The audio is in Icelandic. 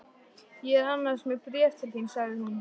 Ég er annars með bréf til þín sagði hún.